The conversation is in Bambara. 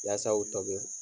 Yasaw tobi.